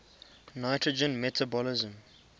nitrogen metabolism